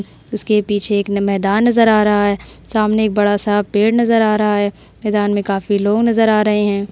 उसके पीछे एक मैंदान नजर या रहा है। सामने एक बड़ा सा पेड़ नजर या रहा है। मैंदान मे काफी लोग नजर या रहे है।